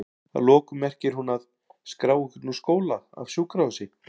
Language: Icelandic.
Að lokum merkir hún að?skrá einhvern úr skóla, af sjúkrahúsi?